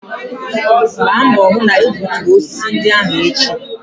Gba mbọ hụ na egbuturu osisi ndị ahụ echi!